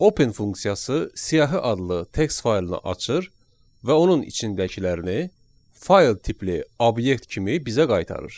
Open funksiyası siyahı adlı text faylını açır və onun içindəkilərini fayl tipli obyekt kimi bizə qaytarır.